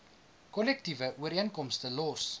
kollektiewe ooreenkomste los